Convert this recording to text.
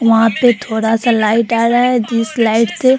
वहां पे थोड़ा सा लाइट आ रहा है जिस लाइट से --